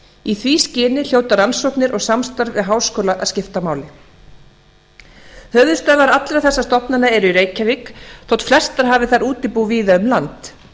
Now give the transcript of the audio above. í því skyni hljóta rannsóknir og samstarf við háskóla að skipta máli höfuðstöðvar allra þessara stofnana eru í reykjavík þótt flestar hafi þær útibú víða um land